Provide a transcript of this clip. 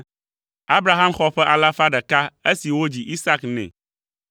Abraham xɔ ƒe alafa ɖeka esi wodzi Isak nɛ.